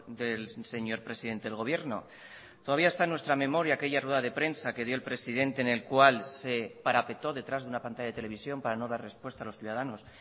del señor presidente del gobierno todavía está en nuestra memoria aquella rueda de prensa que dio el presidente en el cual se parapetó detrás de una pantalla de televisión para no dar respuesta a los ciudadanos